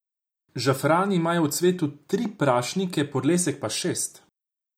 Žafrani imajo v cvetu tri prašnike, podlesek pa šest.